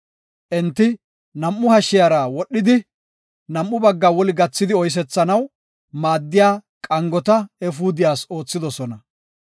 Enti nam7u hashiyara wodhidi, nam7u bagga woli gathidi oysethanaw maaddiya qangota efuudiyas oothidosona.